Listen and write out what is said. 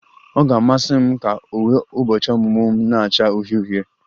Ọ ga-amasị m ka uwe ụbọchị ọmụmụ m na-acha uhie uhie